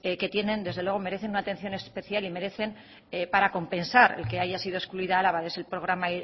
que tienen desde luego merecen una atención especial y merecen para compensar el que haya sido excluida álava de ese programa